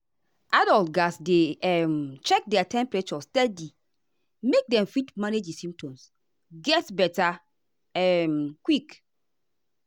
adults gatz dey um check their temperature steady make dem fit manage di symptoms get beta um quick.